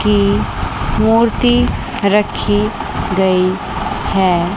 की मूर्ति रखी गई है।